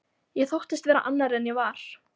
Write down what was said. Ég þóttist vera annar en ég var.